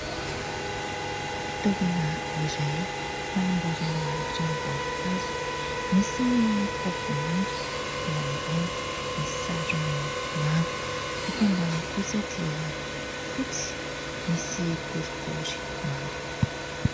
Fitaovana iray fanamboarana ranom-boankazo, misy ny tavoahangy eo ambony misy sarony manga, ito ambany kosa dia fotsy misy borobory manga.